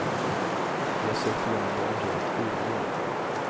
Vi har sökt igenom det området fyra gånger.